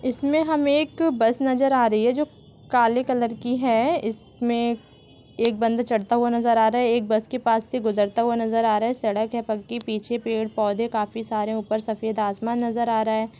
इसमें हमें एक बस नजर आ रही है जो काले कलर की है इसमें एक एक बंदा चढ़ता हुआ नजर आ रहा है एक बस के पास से गुजरता हुआ नजर आ रहा है सड़क है पक्की पीछे पेड़ पौधे काफी सारे ऊपर सफेद आसमान नजर आ रहा है।